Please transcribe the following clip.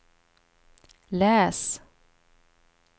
läs